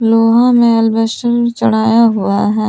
लोहा में अल्वेस्टर चढ़ाया हुआ है।